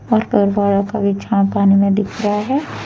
और का भी छांव पानी में दिख रहा है।